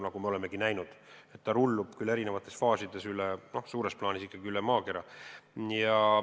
Nagu me oleme näinud, ta rullub, küll olles eri faasides, suures plaanis ikkagi üle maakera.